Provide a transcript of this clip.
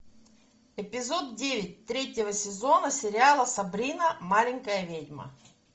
эпизод девять третьего сезона сериала сабрина маленькая ведьма